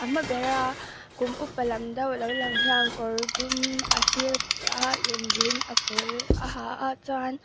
hma bera kum upa lam deuh lo lang hian kawr dum a sîr a in rîn a pâwl a ha a chuan--